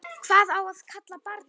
Hvað á að kalla barnið?